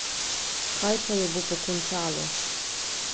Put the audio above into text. Kaj pa jo bo pokončalo?